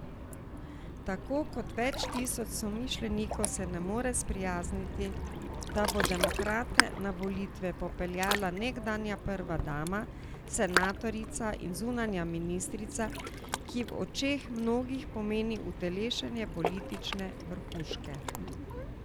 Tako kot več tisoč somišljenikov se ne more sprijazniti, da bo demokrate na volitve popeljala nekdanja prva dama, senatorica in zunanja ministrica, ki v očeh mnogih pomeni utelešenje politične vrhuške.